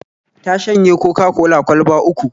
Ta shanye Coca-cola kwalba uku